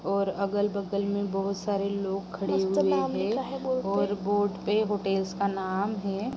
और अगल-बगल में बहोत सारे लोग खड़े हुए है और बोर्ड पे होटल्स का नाम है।